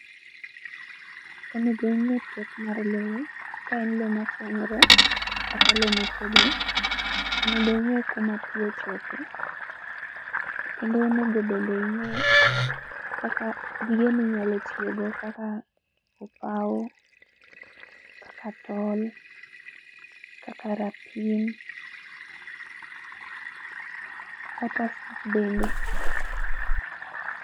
Onego ing'e pek mar lowo, ka en lo masianyore, kata lo motegno. Onego ing'e kuma pii ochope. Kendo onego bende ing'e, kaka gige minyalo tiyogo kaka, opaw, kaka tol, kaka rapim kata fut bende